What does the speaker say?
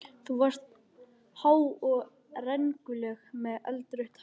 Þú varst há og rengluleg með eldrautt hár.